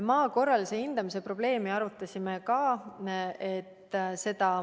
Maa korralise hindamise probleemi arutasime ka.